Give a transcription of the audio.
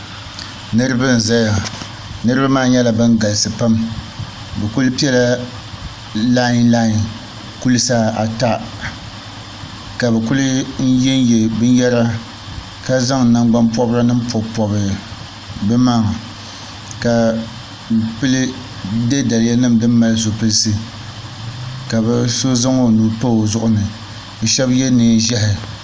niriba n-zaya niriba maa nyɛla ban galisi pam bɛ kuli pela lin lin kulisa ata ka bɛ kuli n-ye ye binyɛra ka zaŋ nangbuni pɔbiri nima m-pɔbi pɔbi bɛ maŋa ka bɛ kuli ye daliya nima din mali zipiliti ka bɛ so zaŋ o nuu pa o zuɣuni bɛ shɛba ye neen' ʒɛhi.